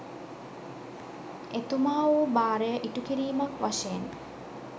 එතුමා වූ භාරය ඉටුකිරීමක් වශයෙන්